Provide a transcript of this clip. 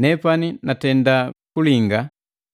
Nepani natenda kulinga,